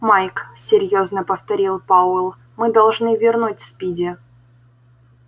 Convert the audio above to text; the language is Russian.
майк серьёзно повторил пауэлл мы должны вернуть спиди